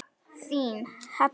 Þín, Heba.